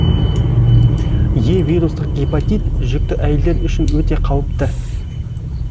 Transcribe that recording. е вирустық гепатит жүкті әйелдер үшін өте кауіпті